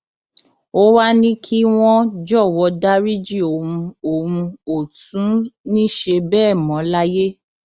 ó wàá ní kí wọn jọwọ dariji òun òun ò tún ní í ṣe bẹẹ mọ láyé